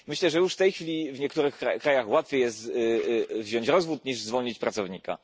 Myślę, że już w tej chwili w niektórych krajach łatwiej jest wziąć rozwód niż zwolnić pracownika.